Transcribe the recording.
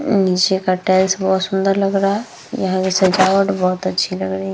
अ नीचे का टाइल्स बहुत सुन्दर लग रहा है। यहाँ की सजावट बहुत अच्छी लग रही --